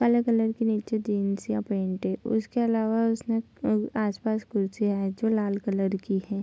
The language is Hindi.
काले कलर के नीचे जीन्स या पैंट है उसके अलावा उसने आस-पास कुर्सियां है जो लाल कलर की है।